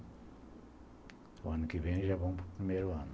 O ano que vem já vão para o primeiro ano.